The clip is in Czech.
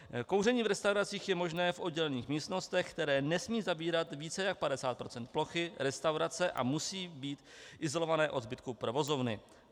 Kouření v restauracích je možné v oddělených místnostech, které nesmějí zabírat více než 50 % plochy restaurace a musí být izolované od zbytku provozovny.